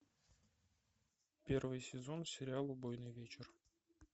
первый сезон сериал убойный вечер